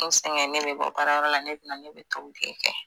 N sɛgɛn ne be bɔ baarayɔrɔ la ne be na ne be tobili kɛ